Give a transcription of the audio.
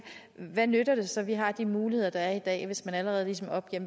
hvad nytter det så at vi har de muligheder der er i dag hvis man allerede ligesom opgiver